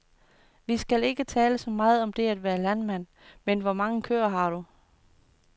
Vi skal ikke tale så meget om det at være landmand, men hvor mange køer har du.